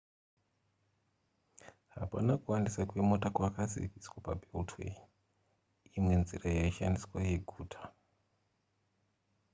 hapana kuwandisa kwemota kwakaziviswa pabeltway imwe nzira yaishandiswa yeguta